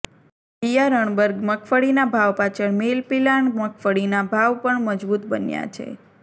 બિયારણબર મગફળીના ભાવ પાછળ મીલ પિલાણ મગફળીના ભાવ પણ મજબુત બન્યા છે